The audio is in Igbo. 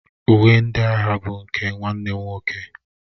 Uwe ndị agha bụ nke nwanne m nwoke.